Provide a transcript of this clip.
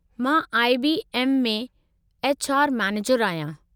मां I. B. M. में H. R. मैनेजरु आहियां।